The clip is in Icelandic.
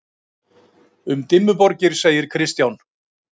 Um Dimmuborgir segir Kristján: